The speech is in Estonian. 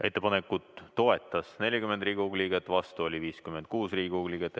Ettepanekut toetas 40 Riigikogu liiget, vastu oli 56 Riigikogu liiget.